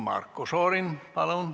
Marko Šorin, palun!